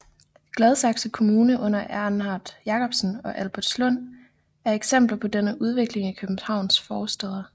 Gladsaxe Kommune under Erhard Jakobsen og Albertslund er eksempler på denne udvikling i Københavns forstæder